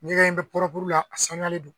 N'i y'a ye n bɛ la a saniyalen don